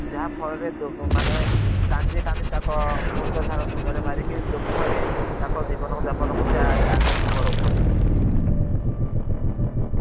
ଯାହା ଫଳ ରେ ମାନେ କାନ୍ଦି କାନ୍ଦି ତାନକ୍ ମୁଣ୍ଡ ଝାଲ ତୁଣ୍ଡ ରେ ମାରିକୀ ଦୁଖରେ ତାଙ୍କ ଜିବନ କୁ ଜାପନ କୁ ସେ ଆଗକୁ ବଦୌଛନ୍ତି।